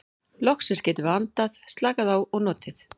Loksins getum við andað, slakað á og notið.